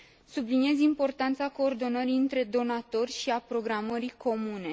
Subliniez importanța coordonării dintre donatori și a programării comune.